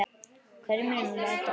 Hverjum munum við mæta??